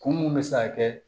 Kun mun bɛ se ka kɛ